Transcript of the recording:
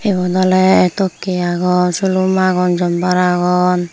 egun oly tokke aagon sulum aagon jumber aagon.